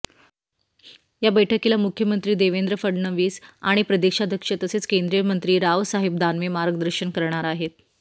या बैठकीला मुख्यमंत्री देवेंद्र फडणवीस आणि प्रदेशाध्यक्ष तसेच केंद्रीय मंत्री रावसाहेब दानवे मार्गदर्शन करणार आहेत